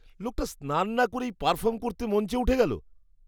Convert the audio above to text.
লোকটা স্নান না করেই পারফর্ম করতে মঞ্চে উঠে গেল।